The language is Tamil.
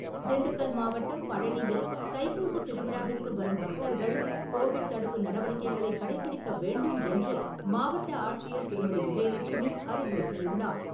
திண்டுக்கல் மாவட்டம் பழனியில் தைப்பூசத் திருவிழாவிற்கு வரும் பக்தர்கள் கோவிட் தடுப்பு நடவடிக்கைகளை கடைப்பிடிக்க வேண்டும் என்று மாவட்ட ஆட்சியர் திருமதி. விஜயலட்சுமி அறிவுறுத்தியுள்ளார்.